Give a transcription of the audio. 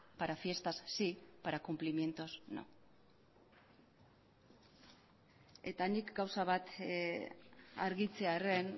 para fiestas sí para cumplimientos no eta nik gauza bat argitzearren